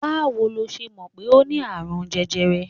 Báwo ló ṣe mọ̀ pé o ní àrùn jẹjẹrẹ?